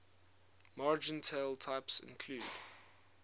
martingale types include